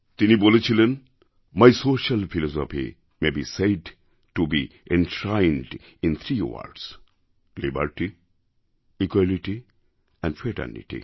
তিনি বলেছিলেন my social philosophy may be said to be enshrined in three words liberty equality and fraternity